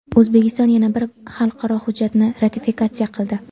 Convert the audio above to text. O‘zbekiston yana bir xalqaro hujjatni ratifikatsiya qildi.